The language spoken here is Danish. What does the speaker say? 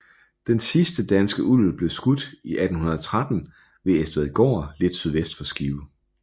Den sidste danske ulv blev skudt i 1813 ved Estvadgård lidt sydvest for Skive